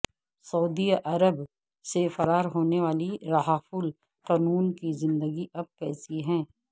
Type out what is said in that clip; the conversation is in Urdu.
سعودی عرب سے فرار ہونے والی رھف القنون کی زندگی اب کیسی ہے